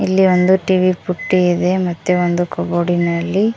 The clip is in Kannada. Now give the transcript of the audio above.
ಇಲ್ಲಿ ಒಂದು ಟಿ_ವಿ ಪುಟ್ಟಿ ಇದೆ ಮತ್ತೆ ಒಂದು ಕಬೋರ್ಡಿನಲ್ಲಿ--